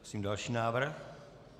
Prosím další návrh.